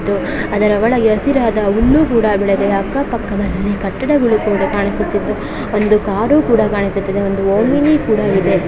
ಅದರ ಒಳಗೆ ಹಸಿರಾದ ಹುಲ್ಲು ಕೂಡಾ ಬೆಳೆದಿದೆ ಅಕ್ಕ ಪಕ್ಕದಲ್ಲಿ ಕಟ್ಟಡಗಳು ಕೂಡಾ ಕಾಣಿಸುತ್ತಿದ್ದು ಒಂದು ಕಾರು ಕೂಡಾ ಕಾಣಿಸುತ್ತಿದ್ದು ಒಂದು ಓಮಿನಿ ಕೂಡಾ ಇದೆ.